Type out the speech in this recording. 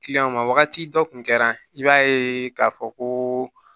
wagati dɔ kun kɛra i b'a ye k'a fɔ ko